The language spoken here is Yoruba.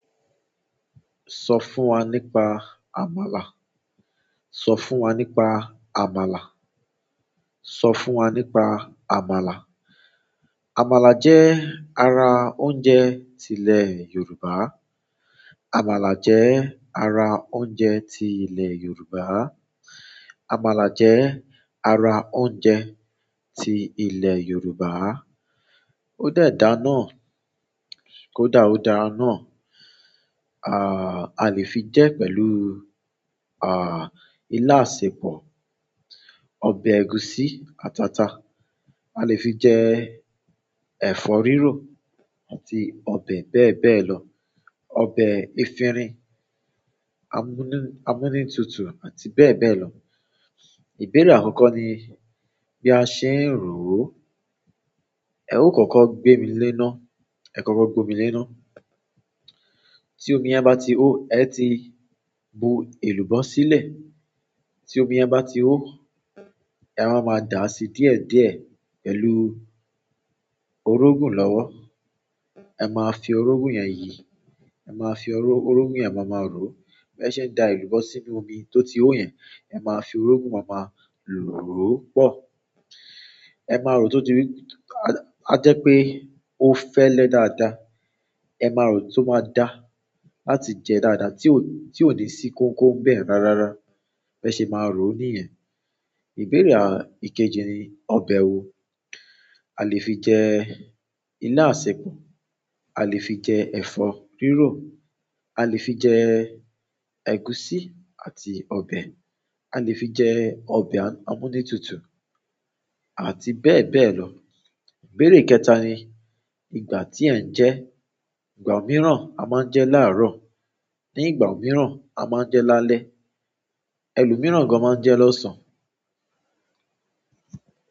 Sọ fún wa nípa àmàlà. Sọ fún wa nípa àmàlà. Sọ fún wa nípa àmàlà. Àmàlà jẹ́ ara oúnjẹ ti ilẹ̀ Yorùbá. Àmàlà jẹ́ ara oúnjẹ ti ilẹ̀ Yorùbá. Àmàlà jẹ́ ara oúnjẹ ti ilẹ̀ Yorùbá. Ó de dà náà, kódà ó dáa náà. Alè fi jẹ pẹ̀lú ila asepọ, ọbẹ egusi àti ata. A lè fi jẹ ẹ̀fọ́ rírò àti ọbẹ̀ bẹ́ẹ̀ bẹ́ẹ̀ lọ, ọbẹ̀ efinrin, amúnútutù àti bẹ́ẹ̀ bẹ́ẹ̀ lọ. Ìbéèrè àkọ́kọ́ ni bí a ṣe ń rò ó. Ẹ ò kọ́kọ́ gbémi léná, ẹ kọ́kọ́ gbomi léná. Tí omi yẹ̀n bá ti hó, ẹ ti bu èlùbọ́ sílẹ̀. Tí omi yẹ̀n bá ti hó, ẹ wa maa dà á sí díẹ̀díẹ̀ pẹ̀lú orógun lọ́wọ́. Ẹ máa fi orógun yẹn yìí. Ẹ máa fi orógun yẹn máa ma rò ó. Bi e ṣe n da elubo sínú omí to ti ho yen, e maa fi orogun maa ma ro o pọ. Ẹ máa rò ó to ti rí, a jẹ́ pé ó fẹ́lẹ́ dáadáa. Ẹ máa rò ó to máa dà á láti jẹ dáadáa, tí ò ní sí kókó ń bẹ̀ rárára. Bẹ́ẹ̀ ṣe ẹ máa rò ó nìyẹn. Ìbéèrè ìkejì ni ọbẹ̀ wo a lè fi jẹ ilá àsèpọ̀, a lè fi jẹ ẹ̀fọ́ rírò, a lè fi jẹ ẹ̀gúsí àti ọbẹ̀, a lè fi jẹ ọbẹ̀ amúnútutù àti bẹ́ẹ̀ bẹ́ẹ̀ lọ. Ìbéèrè kẹta ní ìgbà ti e jẹ e. Ìgbà omìíràn a máa ń jẹ láàrọ̀, ní ìgbà omìíràn a máa ń jẹ lálẹ́, ẹlòmíràn gan máa ń jẹ lọ́sàn-án.